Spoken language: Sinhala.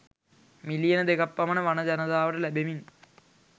මිලියන දෙකක් පමණ වන ජනතාවට ලැබෙමින්